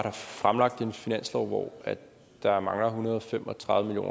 har fremlagt en finanslov hvor der mangler en hundrede og fem og tredive